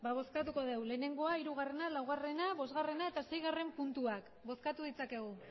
bale ba bozkatuko dugu lehenengoa hirugarrena laugarrena bosgarrena eta seigarren puntuak bozkatu ditzakegu